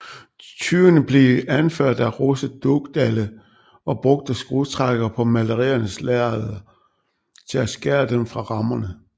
Tyvene blev anført af Rose Dugdale og brugte skrutrækkere på maleriernes lærred til at skære dem fra rammerne